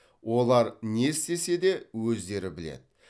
олар не істесе де өздері біледі